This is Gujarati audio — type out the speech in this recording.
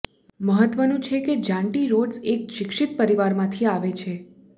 મહત્વનું છે કે જાન્ટી રોડ્સ એક શિક્ષિત પરિવારમાંથી આવે છે